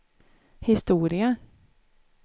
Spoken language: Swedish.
historia